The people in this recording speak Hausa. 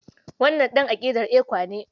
Wannan ɗan aƙidar ECWA ne.